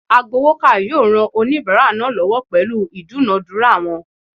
Agbowoka yoo ran onibara naa lowo pelu idunadura won